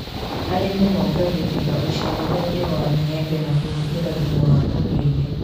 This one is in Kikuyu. Arĩmi mongagirira ũciarithania wa maembe na kũhũthĩra thumu wa ũndũire